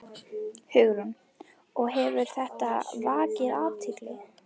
Hugrún: Og hefur þetta vakið athygli?